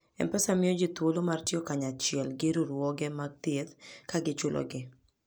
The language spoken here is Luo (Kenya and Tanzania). M-Pesa miyo ji thuolo mar tiyo kanyachiel gi riwruoge mag thieth, ka gichulogi.